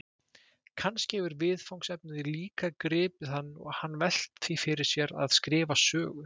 Kannski hefur viðfangsefnið líka gripið hann og hann velt því fyrir sér að skrifa sögu?